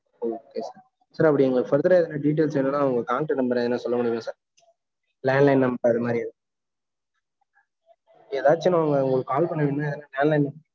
yeah okay sir அது Further ah எதுனா details வேணும்னா, உங்க contact number எதுனா சொல்ல முடியுமா sirlandline number அதுமாரி ஏதாச்சும் நான், உங்களுக்கு call பண்ணணும்ன land line